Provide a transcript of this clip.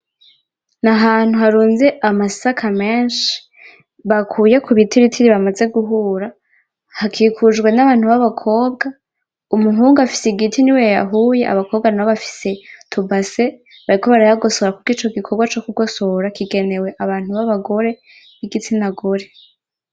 Ni ahantu harunze amasaka menshi bakuye kubitiritiri ,bamaze guhura hakikujwe n'abantu b'abakobwa, umuhungu afise igiti niwe yayahuye ,abakobwa nabo bafise utubase bariko barayagosora kuko ico gikorwa co kugosora kigenewe abantu babagore b'igitsina gore.